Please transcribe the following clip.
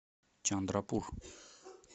чандрапур